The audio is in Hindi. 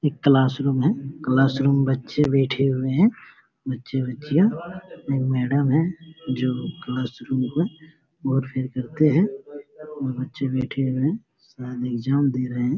एक क्लास रूम है क्लास रूम बच्चे बैठे हुए हैं बच्चे बच्चियां एक मैडम है जो क्लास रूम को बहुत प्यार करते हैं और बच्चे बैठे हुए हैं शायद एग्जाम दे रहे हैं।